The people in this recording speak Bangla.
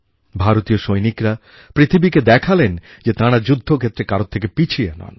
ভারতীয় সৈনিকরা পৃথিবীকে দেখালেন যে তাঁরা যুদ্ধক্ষেত্রে কারোর থেকে পিছিয়ে নন